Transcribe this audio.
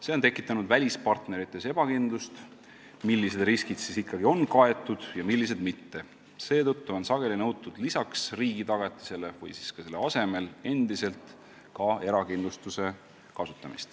See on tekitanud välispartnerites ebakindlust, millised riskid siis ikkagi on kaetud ja millised mitte, ning seetõttu on sageli nõutud lisaks riigi tagatisele või ka selle asemel endiselt ka erakindlustust.